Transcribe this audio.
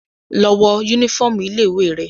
Lọ wọ yúnífọ̀ọmù ilé ìwé rẹ!